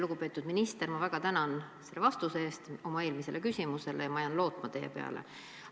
Lugupeetud minister, ma väga tänan selle vastuse eest oma eelmisele küsimusele ja ma jään teie peale lootma.